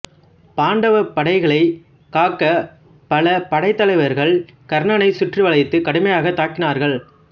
பாண்டவப்படைகளைக் காக்க பல படைத்தலைவர்கள் கர்ணனைச் சுற்றி வளைத்து கடுமையாகத் தாக்கினார்கள்